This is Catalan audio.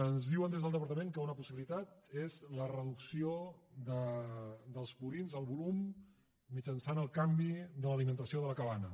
ens diuen des del departament que una possibilitat és la reducció del volum mitjançant el canvi de l’alimentació de la cabanya